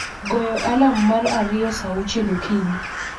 goyo alarm mar ariyo saa auchiel okinyi